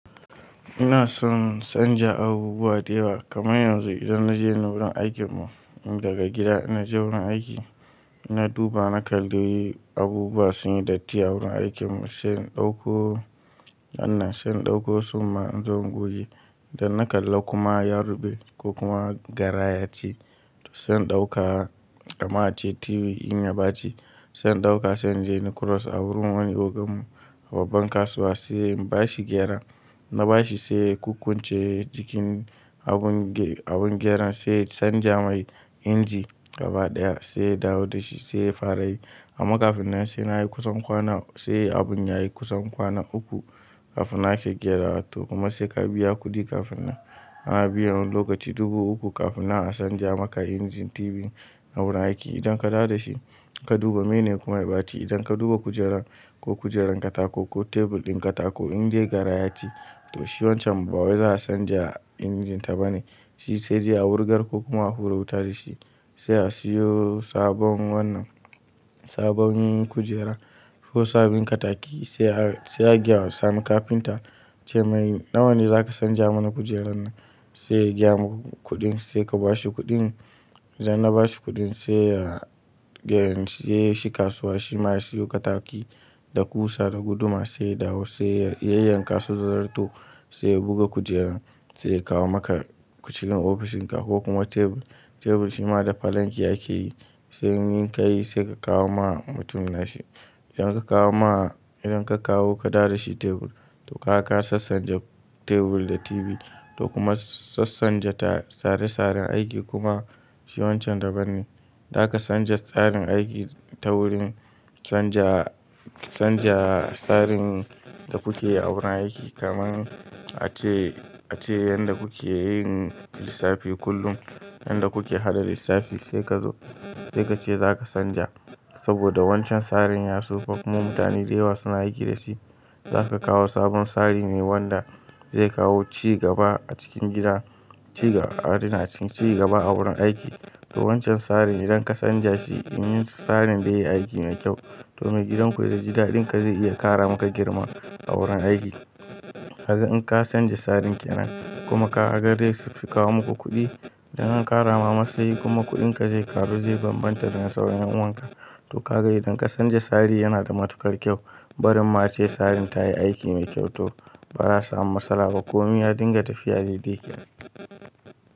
Ina son canja abubuwa da yawa kamar yanzu idan naje wurin aikin mu tun daga gida. In naje wurin aiki na duba na kalli abubuwa sun yi datti a wurin aikin mu sai in ɗauko wannan, sai in ɗauko summa in zo gobe. Da na kalla kuma ya ruɓe ko kuma garaya ce to sai in ɗauka kaman ace TV in ya bace sai in ɗauka, sai in je inyi cross a wurin wani ogan mu babban kasuwa sai in bashi gyara. In na bashi sai ya kukkunce jikin abun abun gyaran, sai ya sanja mai inji gaba ɗaya sai ya dawo da shi sai ya fara yi. Amma kafin nan sai nayi kusan kwana, sai abun yayi kusan kwana uku kafin nan ake gyarawa to kuma sai ka biya kuɗi kafin nan. Ana biyan wani lokaci dubu uku kafin na a sanja maka injin TV a wurin aiki. Idan ka dawo da shi ka duba, meye ne kuma ya ɓaci. Idan ka duba kujerar ko kujerar katako ko tebur ɗin katako in dai gara ya ci to shi wancan ba wai za a sanja injin ta ba ne, shi sai dai a wurgar ko kuma a hura wuta da shi sai a siyo sabon wannan sabon kujera ko sabin kataki sai a sai a gayawa. Sani kafinta a ce mai nawa ne za ka sanja mana kujerar nan? Sai ya gaya muku kuɗin sai ka bashi kuɗin. Idan na bashi kuɗin sai ya gayan sai shi kasuwa. Shi ma ya siyo kataki da ƙusa da guduma sai ya dawo sai ya yayyanka su da zarto sai ya buga kujerar sai ya kawo maka cikin ofishinka ko kuma tebur. Tebur shi ma da falanki ake yi sai in kayi sai ka kawo ma mutumin nashi. Idan ka kawo ma, idan ka kawo ka dawo da shi tebur to kaga ka sassanja tebur da TV to kuma sassanja ta tsare tsaren aiki kuma shi wancan daban ne. Za ka canja tsarin aiki ta wurin canja canja tsarin da kuke yi a wurin aiki kamar ace ace yanda kuke yin lissafi kullum. Yanda kuke haɗa lissafi sai ka zo sai ka ce za ka sanja saboda wancan tsarin ya tsufa kuma mutane da yawa suna aiki da shi. Za ka kawo sabon tsari mai wanda zai kawo cigaba a cikin gida cigaba a cikin cigaba a wurin aiki. To wancan tsarin idan ka sanja shi in tsarin dai yi aiki mai kyau to mai gidan ku in ya ji daɗin ka zai iya ƙara maka girma a wurin aiki. Kaga in ka sanja tsarin kenan in kuma ka ga dai fi kawo muku kuɗi idan an ƙara ma matsayi kuma kuɗinka zai ƙaru zai bambanta da na sauran ƴan uwanka. To ka ga idan ka sanja tsari yana da matuƙar kyau. Barin ma ace tsarin ta yi aiki mai kyau to ba zaa samu matsala ba. Komi ya dinga tafiya dai dai kenan.